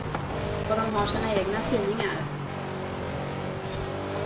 Och de har sina egna tidningar.